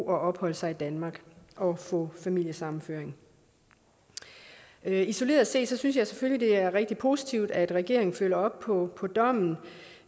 og opholde sig i danmark og få familiesammenføring isoleret set synes jeg selvfølgelig det er rigtig positivt at regeringen følger op på på dommen